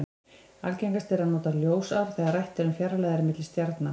Algengast er að nota ljósár þegar rætt er um fjarlægðir til stjarna.